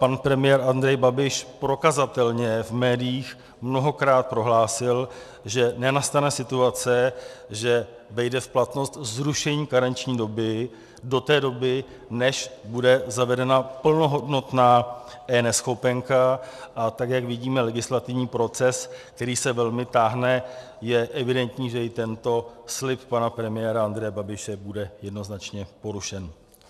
Pan premiér Andrej Babiš prokazatelně v médiích mnohokrát prohlásil, že nenastane situace, že vejde v platnost zrušení karenční doby do té doby, než bude zavedena plnohodnotná eNeschopenka, a tak jak vidíme legislativní proces, který se velmi táhne, je evidentní, že i tento slib pana premiéra Andreje Babiše bude jednoznačně porušen.